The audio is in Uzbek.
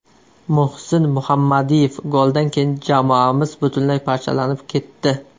Muhsin Muhammadiyev: Goldan keyin jamoamiz butunlay parchalanib ketdi.